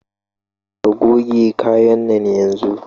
Ka goge kayan nan yanzun!